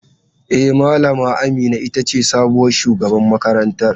E, Malama Amina ita ce sabuwar shugaban makarantar.